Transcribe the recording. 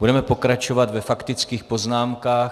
Budeme pokračovat ve faktických poznámkách.